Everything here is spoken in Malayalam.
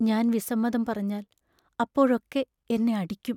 ഞാൻ വിസമ്മതം പറഞ്ഞാൽ അപ്പോഴൊക്കെ എന്നെ അടിക്കും.